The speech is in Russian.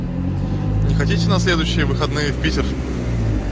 не хотите на следующие выходные в питер